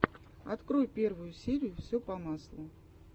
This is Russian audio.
открой первую серию все по маслу